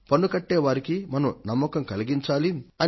పన్ను చెల్లించే వారికి మనం నమ్మకం కలిగించాలి